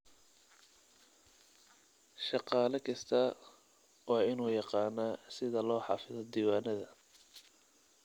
Shaqaale kastaa waa inuu yaqaanaa sida loo xafido diiwaanada.